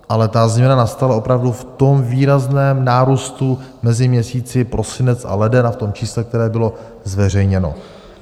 Ale ta změna nastala opravdu v tom výrazném nárůstu mezi měsíci prosinec a leden a v tom čísle, které bylo zveřejněno.